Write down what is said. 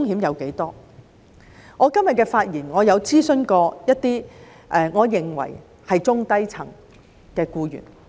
為了今日的發言，我曾諮詢一些我認為是中低層的僱員。